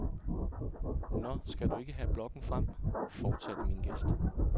Nå skal du ikke have blokken frem, fortsatte min gæst.